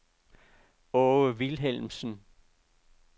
Aage Vilhelmsen